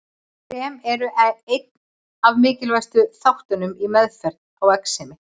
Krem eru einn af mikilvægustu þáttunum í meðferð á exemi.